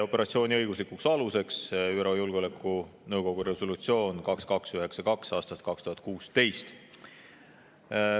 Operatsiooni õiguslik alus on ÜRO Julgeolekunõukogu resolutsioon 2292 aastast 2016.